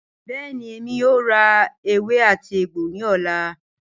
Bẹẹni, Emi yoo ra ewè àti egbo ni ọla.